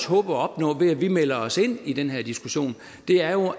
håber at opnå ved at vi melder os ind i den her diskussion er jo